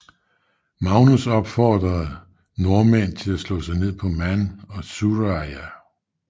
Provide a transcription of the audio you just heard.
Magnus opmuntrede nordmænd til at slå sig ned på Man og Sudreyar